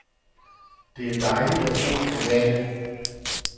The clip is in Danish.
Det er dejligt at bo på vandet.